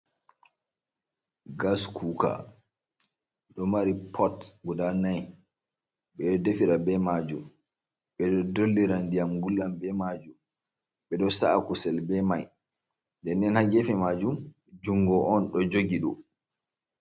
Gas cuka ɗo mari pott guda nai ɓeɗo defira be majum ɓeɗo dollira ndiyam gullal be majum be ɗo sa’a kusel be mai denen haa gefe majum jungo on do jogi ɗum.